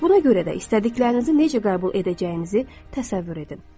Buna görə də istədiklərinizi necə qəbul edəcəyinizi təsəvvür edin.